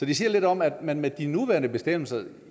det siger lidt om at man med de nuværende bestemmelser